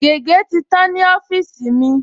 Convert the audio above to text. Gègé̀ ti tán ní ọ́fíìsì mi